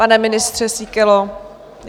Pane ministře Síkelo?